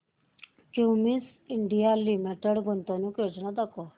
Cummins India limited गुंतवणूक योजना दाखव